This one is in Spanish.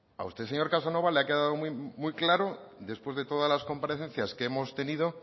a usted señor casanova le ha quedado muy claro después de todas las comparecencias que hemos tenido